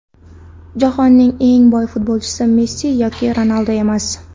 Jahonning eng boy futbolchisi Messi yoki Ronaldu emas.